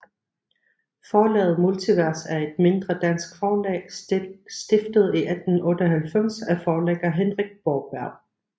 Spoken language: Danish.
Forlaget Multivers er et mindre dansk forlag stiftet i 1998 af forlægger Henrik Borberg